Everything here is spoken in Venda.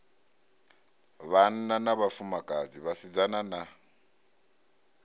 vhanna na vhafumakadzi vhasidzana na